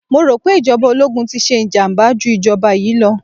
Mo rò pé ìjọba ológun ti ṣe ìjàmàbá jú ìjọba yìí lọ.